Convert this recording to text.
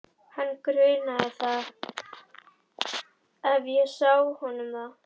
Ræður ástand efnahagsmála einhverju um ákvörðun þína núna?